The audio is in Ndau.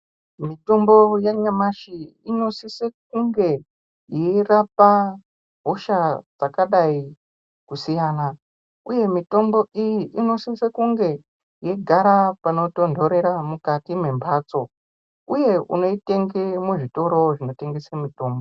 Mitombo ya nyamashi ino sise kunge yei rapa hosha dzakadai kusiyana uye mutombo iyi ino sise kunge yeigara pano tondorera mukati me mbatso uye unoi tenge mu zvitoro zvino tengese mutombo.